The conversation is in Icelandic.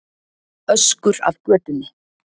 Öskur af götunni.